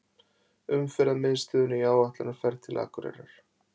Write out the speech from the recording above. Umferðarmiðstöðinni í áætlunarferð til Akureyrar.